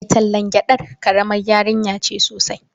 Mai tallan gyadar karamar yarinya ce sosai.